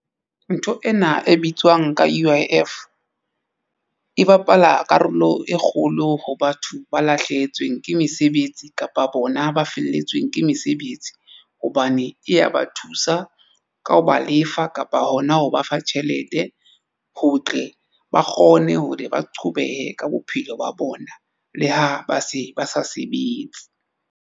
Ntho ena e bitswang ka U_I_F e bapala karolo e kgolo ho batho ba lahlehetsweng ke mesebetsi kapa bona ba felletsweng ke mesebetsi hobane e ya ba thusa ka ho ba lefa kapa hona ho ba fa tjhelete ho tle ba kgone hore ba qhobehe ka bophelo ba bona le ha ba se ba sa sebetse.